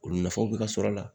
O nafaw be ka sɔrɔ a la